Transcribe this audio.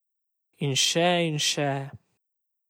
In še in še ...